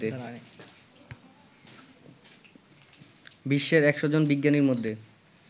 বিশ্বের সেরা ১০০ বিজ্ঞানীর মধ্যে